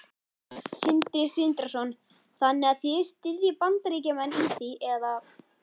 Sindri Sindrason: Þannig að þið styðjið Bandaríkjamenn í því eða?